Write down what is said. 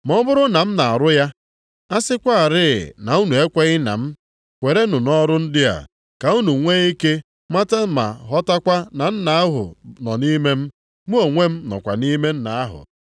Ma ọ bụrụ na m na-arụ ya, a sịkwarị na unu ekweghị na m, kwerenụ nʼọrụ ndị a, ka unu nwee ike mata ma ghọtakwa na Nna ahụ nọ nʼime m, mụ onwe m nọkwa nʼime Nna ahụ.”